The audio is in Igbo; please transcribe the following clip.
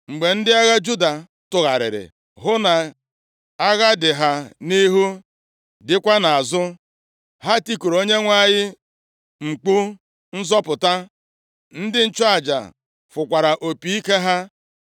Mgbe ndị agha Juda tụgharịrị hụ na agha dị ha nʼihu dịkwa nʼazụ, ha tikuru Onyenwe anyị mkpu nzọpụta, ndị nchụaja fụkwara opi ike ha.